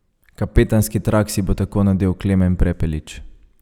Kapetanski trak si bo tako nadel Klemen Prepelič.